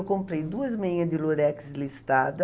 Eu comprei duas meinha de lurex listrada.